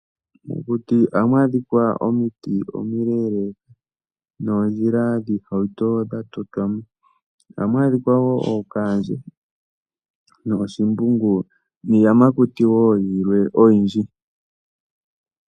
Mokuti ohamu adhika omiti omileleka noondjila dhiihauto dha totwamo. Ohamu adhika woo ookandje noshimbungu niiyamakuti wo yilwe oyindji.